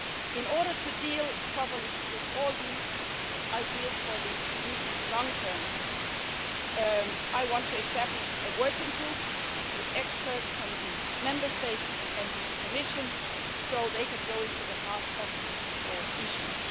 In order to deal properly with all these ideas for the medium and long term, I want to establish a working group with experts from the Member States and the Commission so they can go to the heart of these issues.